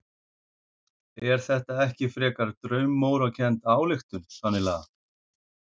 Er þetta ekki frekar draumórakennd ályktun þannig lagað?